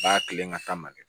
Baa kelen ka taa man kɛ